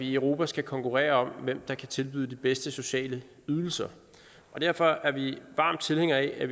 i europa skal konkurrere om hvem der kan tilbyde de bedste sociale ydelser og derfor er vi varme tilhængere af at